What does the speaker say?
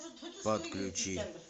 подключи